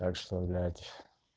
так что блять